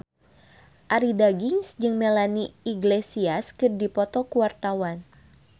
Arie Daginks jeung Melanie Iglesias keur dipoto ku wartawan